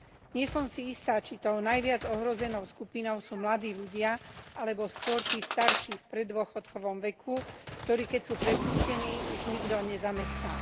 Nie som si istá, či tou najviac ohrozenou skupinou sú mladí ľudia alebo skôr tí starší v preddôchodkovom veku, ktorých keď sú prepustení už nikto nezamestná.